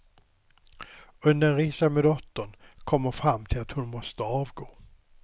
Under en resa med dottern kom hon fram till att hon måste avgå.